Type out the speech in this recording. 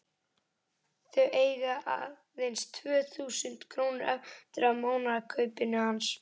Þau eiga aðeins tvö þúsund krónur eftir af mánaðarkaupinu hans.